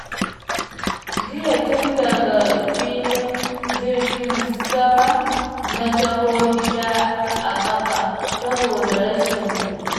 Jiya tun daga filin jirginsama na taho gida a ƙafa saboda rashin kuɗi.